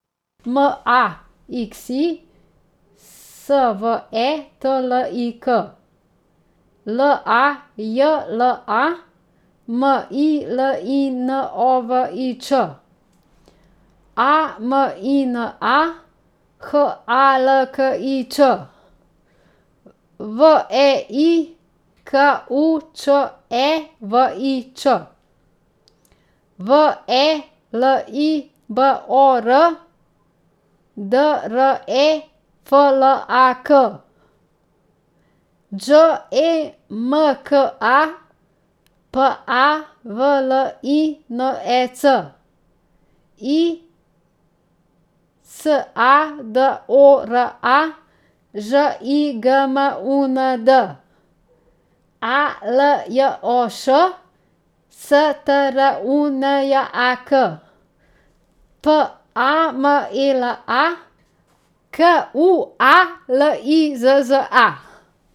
M A X I, S V E T L I K; L A J L A, M I L I N O V I Č; A M I N A, H A L K I Ć; V E I, K U Č E V I Ć; V E L I B O R, D R E F L A K; Đ E M K A, P A V L I N E C; I S A D O R A, Ž I G M U N D; A L J O Š, S T R U N J A K; P A M E L A, K U A L I Z Z A.